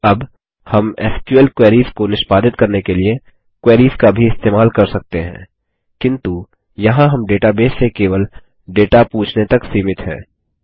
अब हम SQL queries को निष्पादित करने के लिए क्वेरीस का भी इस्तेमाल कर सकते हैं किन्तु यहाँ हम डेटाबेस से केवल डेटा पूछने तक सीमित हैं